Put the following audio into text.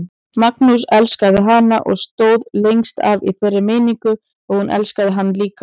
Magnús elskaði hana og stóð lengst af í þeirri meiningu að hún elskaði hann líka.